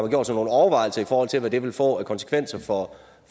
gjort sig nogle overvejelser i forhold til hvad det vil få af konsekvenser for